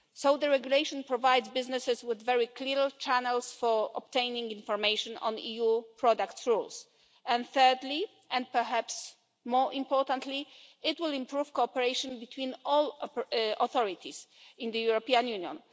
The regulation provides businesses with very clear channels for obtaining information on EU product rules. Thirdly, and perhaps more importantly, it will improve cooperation between all authorities in the European Union.